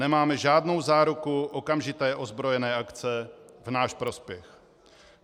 Nemáme žádnou záruku okamžité ozbrojené akce v náš prospěch.